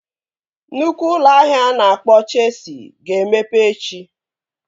Nnukwu ụlọ ahịa a na-akpọ Chesi ga-emepe echi